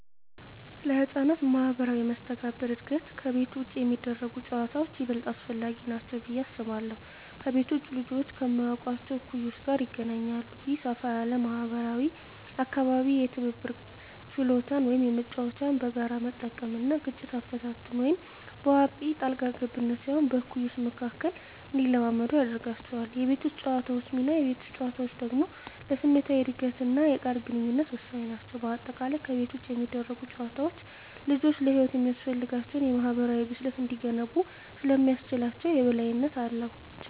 ለሕፃናት ማኅበራዊ መስተጋብር እድገት ከቤት ውጭ የሚደረጉ ጨዋታዎች ይበልጥ አስፈላጊ ናቸው ብዬ አስባለሁ። ከቤት ውጭ ልጆች ከማያውቋቸው እኩዮች ጋር ይገናኛሉ። ይህ ሰፋ ያለ ማኅበራዊ አካባቢ የትብብር ችሎታን (መጫወቻዎችን በጋራ መጠቀም) እና ግጭት አፈታትን (በአዋቂ ጣልቃ ገብነት ሳይሆን በእኩዮች መካከል) እንዲለማመዱ ያደርጋቸዋል። የቤት ውስጥ ጨዋታዎች ሚና: የቤት ውስጥ ጨዋታዎች ደግሞ ለስሜታዊ እድገትና የቃል ግንኙነት ወሳኝ ናቸው። በአጠቃላይ፣ ከቤት ውጭ የሚደረጉ ጨዋታዎች ልጆች ለሕይወት የሚያስፈልጋቸውን የማኅበራዊ ብስለት እንዲገነቡ ስለሚያስችላቸው የበላይነት አላቸው።